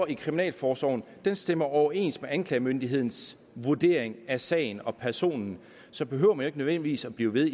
i kriminalforsorgen stemmer overens med anklagemyndighedens vurdering af sagen og personen så behøver man jo ikke nødvendigvis blive ved